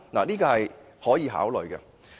這是可以考慮的。